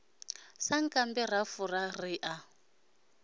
sankambe ra fura ri a